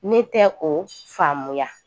Ne tɛ o faamuya